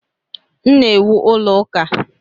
M na-ewu ụlọ ụka.